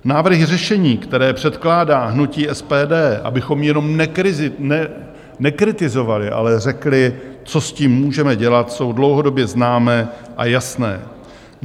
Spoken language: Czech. Návrhy řešení, které předkládá hnutí SPD, abychom jenom nekritizovali, ale řekli, co s tím můžeme dělat, jsou dlouhodobě známé a jasné.